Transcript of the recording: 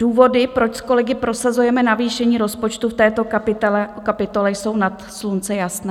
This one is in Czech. Důvody, proč s kolegy prosazujeme navýšení rozpočtu v této kapitole, jsou nad slunce jasné.